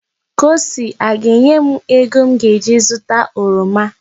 Kosi aga-enye m ego m ga-eji zụta oroma?